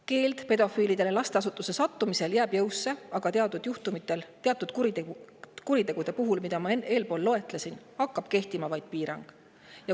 Lasteasutuses keeld jääb pedofiilide puhul jõusse, aga teatud juhtudel, teatud kuritegude puhul, mida ma eespool loetlesin, hakkab kehtima vaid piirang.